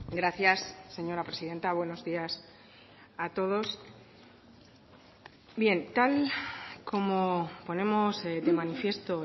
gracias señora presidenta buenos días a todos bien tal como ponemos de manifiesto